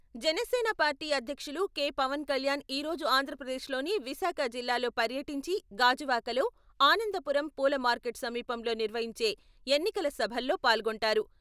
Janasena party అధ్యక్షులు K. Pawan Kalyan ఈ రోజు ఆంధ్రప్రదేశ్ లోని విశాఖ జిల్లాలో పర్యటించి గాజువాకలో, ఆనందపురం పూల మార్కెట్ సమీపంలో నిర్వహించే ఎన్నికల సభల్లో పాల్గొంటారు.